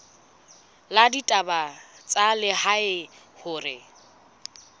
la ditaba tsa lehae hore